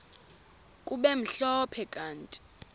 kube mhlophe kanti